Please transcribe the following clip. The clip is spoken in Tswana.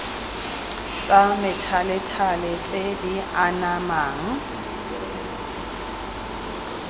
tsa methalethale tse di anamang